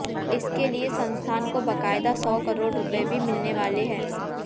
इसके लिए संस्थान को बकायदा सौ करोड़ रूपए भी मिलने वाले हैं